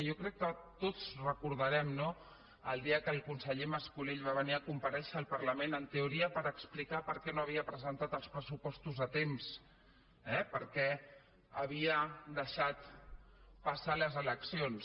jo crec que tots recordarem no el dia que el conseller mas colell va venir a comparèixer al parlament en teoria per explicar per què no havia presentat els pressupostos a temps eh per què havia deixat passar les eleccions